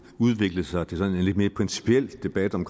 udviklet sig til en lidt mere principiel debat om